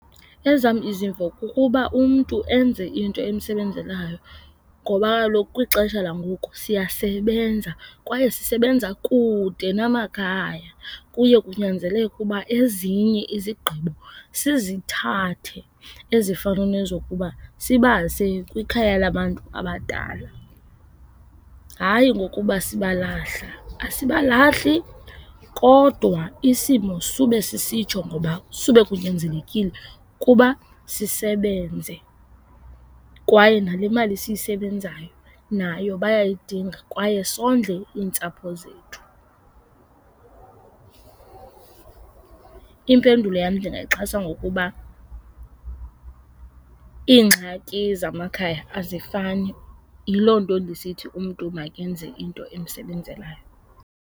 Ezam izimvo kukuba umntu enze into emsebenzelayo ngoba kaloku kwixesha langoku siyasebenza kwaye sisebenza kude namakhaya. Kuye kunyanzeleke ukuba ezinye izigqibo sizithathe ezifana nezokuba sibase kwikhaya labantu abadala. Hayi ngokuba sibalahla, asibalahli kodwa isimo sube sisitsho ngoba sube kunyanzelekile ukuba sisebenze kwaye nale mali siyisebenzayo nayo bayayidinga kwaye sondle iintsapho zethu. Impendulo yam ndingayixhasa ngokuba iingxaki zamakhaya azifani, yiloo nto ndisithi umntu makenze into emsebenzelayo.